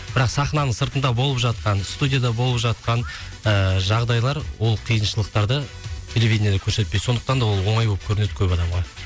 бірақ сахнаның сыртында болып жатқан студияда болып жатқан ыыы жағдайлар ол қиыншылықтарды телевиденияда көрсетпейді сондықтан да ол оңай болып көрінеді көп адамға